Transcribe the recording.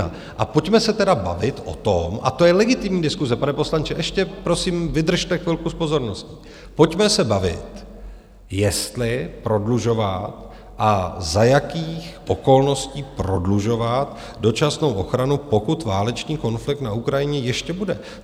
A pojďme se tedy bavit o tom - a to je legitimní diskuse - pane poslanče, ještě prosím vydržte chvilku s pozorností , pojďme se bavit, jestli prodlužovat a za jakých okolností prodlužovat dočasnou ochranu, pokud válečný konflikt na Ukrajině ještě bude.